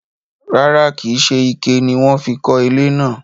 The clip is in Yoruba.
rárá, kìí se ike ni wọ́n fi kọ́ ilé náà.